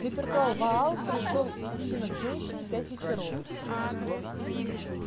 репертуар ваал пришёл мужчина к женщине пять вечеров